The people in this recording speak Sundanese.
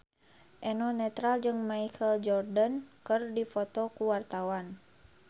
Eno Netral jeung Michael Jordan keur dipoto ku wartawan